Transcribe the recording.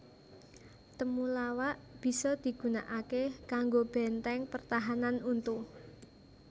Temulawak bisa digunakaké kanggo bèntèng pertahanan untu